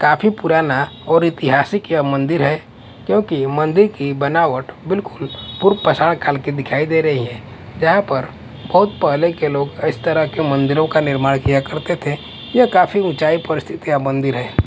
काफी पुराना और ऐतिहासिक यह मंदिर हैं क्योंकि मंदिर की बनावट बिल्कुल पूर काल की दिखाई दे रही है जहां पर बहुत पहले के लोग इस तरह के मंदिरों का निर्माण किया करते थे यह काफी ऊंचाई पर स्थित ये मंदिर है।